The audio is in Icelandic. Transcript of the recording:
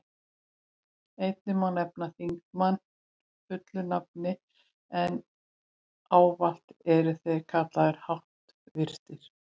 Einnig má nefna þingmenn fullu nafni, en ávallt eru þeir kallaðir háttvirtir.